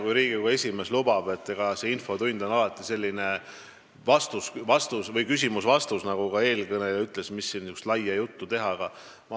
Kui Riigikogu esimees lubaks, siis räägiksin rohkem, aga eks Riigikogu infotunnis on alati küsimus-vastus, nagu ka eelkõneleja ütles, mis siin ikka pikka juttu teha.